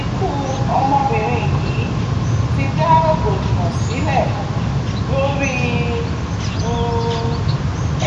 ikú ọmọbìnrin yìí ti dá rògbòdìyàn sílẹ̀ lórí um